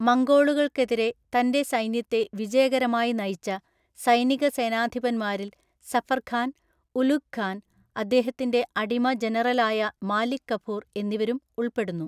മംഗോളുകൾക്കെതിരെ തന്റെ സൈന്യത്തെ വിജയകരമായി നയിച്ച സൈനിക സേനാധിപന്മാരിൽ സഫർ ഖാൻ, ഉലുഗ് ഖാൻ, അദ്ദേഹത്തിന്റെ അടിമ ജനറലായ മാലിക് കഫൂർ എന്നിവരും ഉൾപ്പെടുന്നു.